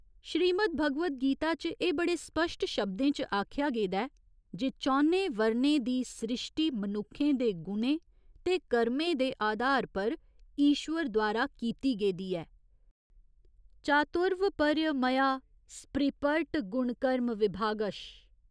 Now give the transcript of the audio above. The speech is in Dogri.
श्री मद्‌भगवद्‌ गीता च एह् बड़े स्पश्ट शब्दें च आखेआ गेदा ऐ जे चौनें वर्णें दी स्रिश्टी मनुक्खें दे गुणें ते कर्में दे आधार पर ईश्वर द्वारा कीती गेदी ऐ, चातुर्वपर्य मया सृपर्ट गुणकर्म विभागश।